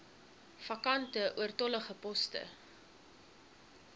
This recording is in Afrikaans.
vakante oortollige poste